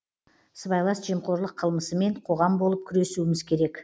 сыбайлас жемқорлық қылмысымен қоғам болып күресуіміз керек